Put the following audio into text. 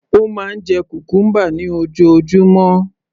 Ó máa ń jẹ cucumber ní ojoojúmọ́